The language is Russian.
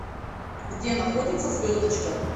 где находится звездочка